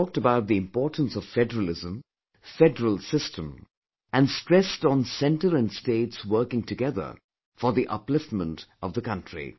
He had talked about the importance of federalism, federal system and stressed on Center and states working together for the upliftment of the country